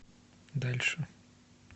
дальше